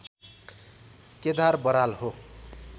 केदार बराल हो